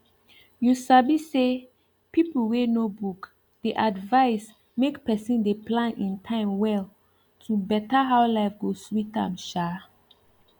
you sabi say people wey know book dey advise make person dey plan in time well to better how life go sweet am um